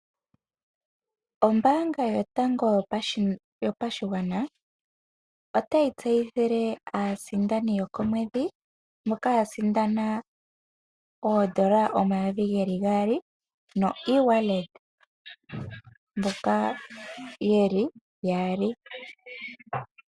Ombaanga yotango yopashigwana otayi tseyithile aasindani mboka ya sindana oondola omayovi geli gaali noeWallet, mboka yeli yaali.